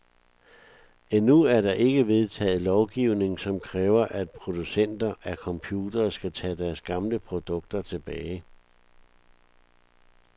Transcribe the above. Endnu er der ikke vedtaget lovgivning, som kræver, at producenter af computere skal tage deres gamle produkter tilbage.